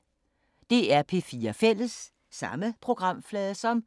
DR P4 Fælles